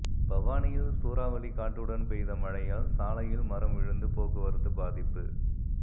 பவானியில் சூறாவளி காற்றுடன் பெய்த மழையால் சாலையில் மரம் விழுந்து போக்குவரத்து பாதிப்பு